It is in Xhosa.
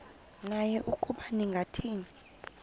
naye ukuba ningathini